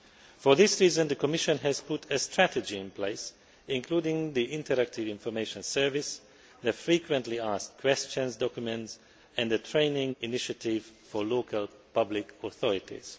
For this reason, the Commission has put a strategy in place, including the interactive information service, the frequently asked questions documents and the training initiative for local public authorities.